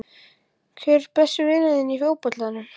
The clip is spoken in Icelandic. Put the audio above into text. Hver er besti vinur þinn í fótboltanum?